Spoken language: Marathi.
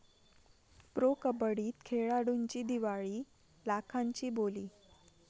प्रो कबड्डीत खेळाडूंची दिवाळी, लाखांची बोली!